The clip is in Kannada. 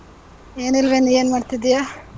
ಎನಿಲ್ವೇ, ನೀ ಏನ್ ಮಾಡ್ತಿದೀಯಾ?